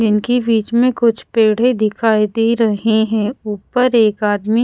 जिनकी बीच में कुछ पेढ़े दिखाई दे रहें हैं ऊपर एक आदमी--